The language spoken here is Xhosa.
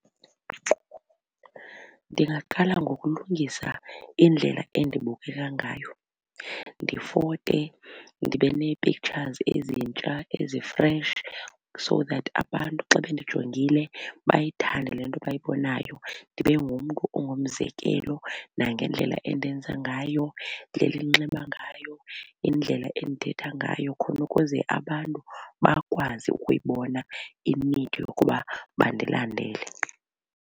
Ndingaqala ngokulungisa indlela endibukeka ngayo. Ndifote ndibe nee-pictures ezintsha ezi-fresh so that abantu xa bendijongile bayithande le nto bayibonayo ndibe ongumzekelo nangendlela endenza ngayo, indlela endinxiba ngayo indlela endithetha ngayo khona ukuze abantu bakwazi ukuyibona i-need yokuba bandilandele.